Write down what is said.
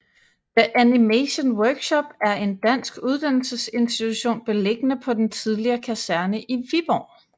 The Animation Workshop er en dansk uddannelsesinstitution beliggende på den tidligere kaserne i Viborg